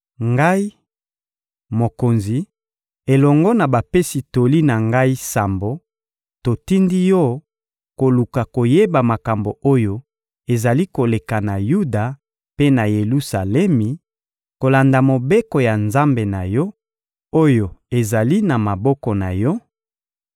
Ngai, mokonzi elongo na bapesi toli na ngai sambo, totindi yo koluka koyeba makambo oyo ezali koleka na Yuda mpe na Yelusalemi, kolanda Mobeko ya Nzambe na yo, oyo ezali na maboko na yo,